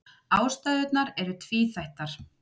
Ástæðurnar eru tvíþættar.